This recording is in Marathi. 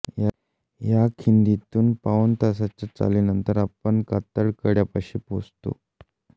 या खिंडीतुन पाऊण तासाच्या चालीनंतर आपण माथ्याच्या कातळकड्यापाशी पोहोचतो